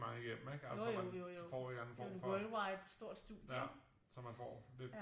Jo jo jo jo det er jo en worldwide stort studie ikke